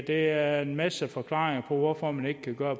er en masse forklaringer på hvorfor man ikke kan gøre